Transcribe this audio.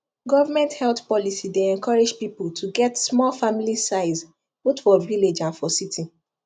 government health policy dey encourage people to get small family sizeboth for village and for city